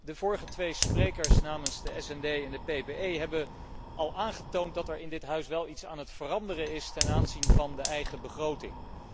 De vorige twee sprekers namens de SD en de PPE Fractie hebben al aangetoond dat er in dit Huis wel iets aan het veranderen is ten aanzien van de eigen begroting.